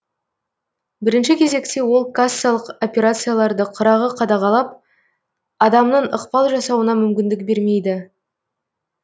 бірінші кезекте ол кассалық операцияларды қырағы қадағалап адамның ықпал жасауына мүмкіндік бермейді